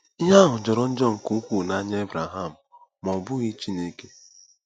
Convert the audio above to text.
“Ihe ahụ jọrọ njọ nke ukwuu n'anya Ebreham”—ma ọ bụghị Chineke.